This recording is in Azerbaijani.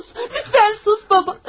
Sus, lütfen sus baba.